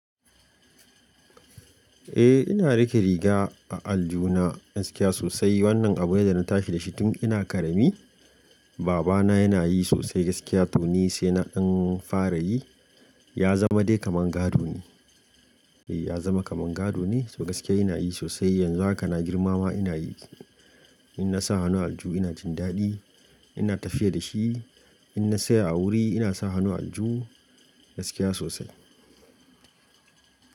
Eh ina rike riga a aljuna gaskiya sosai. Wannan abu ne da na tashi da shi tun ina ƙarami. Baba na yana yi sosai gaskiya to ni sai na ɗan fara yi. Ya zama dai kamar gado ne. Eh ya zama kamar gado ne, so gaskiya ina yi sosai yanzu haka na girmama ina yi. In na sa hannu alju ina jin daɗi ina tafiya da shi. In na saya a wuri ina sa hannu alju gaskiya sosai.